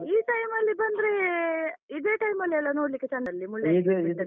ಈ time ಅಲ್ಲಿ ಬಂದ್ರೆ ಇದೆ time ಅಲ್ಲಿ ಅಲ ನೋಡ್ಲಿಕ್ಕೆ ಚಂದಲ್ಲ ಮುಳ್ಳಯ್ಯನಗಿರಿ.